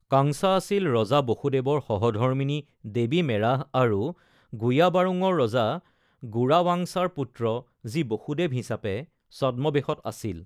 কাংছা আছিল ৰজা বসুদেৱৰ সহধৰ্মিনী দেৱী মেৰাহ আৰু গুয়াবাৰোঙৰ ৰজা গোৰাৱাংছাৰ পুত্ৰ, যি বসুদেৱ হিচাপে ছদ্মবেশত আছিল।